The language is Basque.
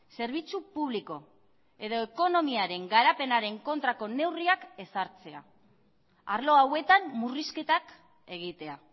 zerbitzu publiko edo ekonomiaren garapenaren kontrako neurriak ezartzea arlo hauetan murrizketak egitea